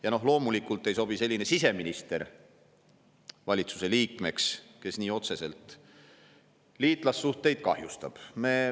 Ja loomulikult ei sobi valitsuse liikmeks selline siseminister, kes nii otseselt liitlassuhteid kahjustab.